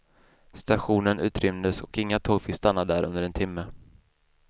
Stationen utrymdes och inga tåg fick stanna där under en timme.